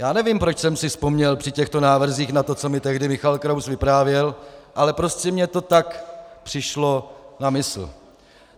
Já nevím, proč jsem si vzpomněl při těchto návrzích na to, co mi tehdy Michal Kraus vyprávěl, ale prostě mi to tak přišlo na mysl.